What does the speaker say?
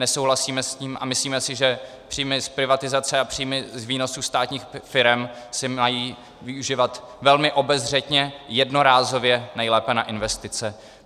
Nesouhlasíme s tím a myslíme si, že příjmy z privatizace a příjmy z výnosů státních firem se mají využívat velmi obezřetně, jednorázově, nejlépe na investice.